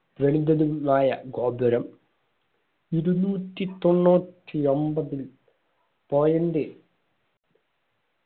തതുംന്നായ ഗോപുരം ഇരുന്നൂറ്റി തൊണ്ണൂറ്റിയമ്പതിൽ point